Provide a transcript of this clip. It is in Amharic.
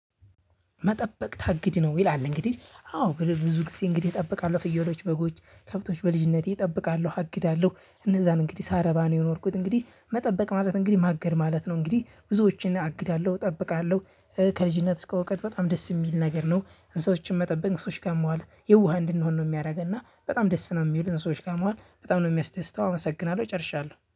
መጠበቅ ታግድ ነው ይላል እንግዲህ አዎ እንግዲህ ብዙ ጊዜ እንግዲህ እጠብቃለሁ ፍየሎች በጎች ከብቶች በልጅነቴ እጠብቃለሁ አግዳለሁ እነዛን እንግዲህ ሳረባ ነው የኖርኩት እንግዲህ መጠበቅ ማለት እንግዲህ ማገድ ማለት ነው። እንግዲህ ብዙዎችን አግድሃለሁ እጠብቃለሁ ከልጅነት እስከ እውቀት በጣም ደስ የሚል ነገር ነው። እንስሳዎችን መጠበቅ ከእንስሶች ጋር መዋል የዋህ እንድንሆን ነው የሚያደርገን እና በጣም ደስ ነው የሚሉት እንስሶች ጋር መዋል በጣም ነው የሚያስደስተው። አመሰግናለሁ ጨርሻለሁ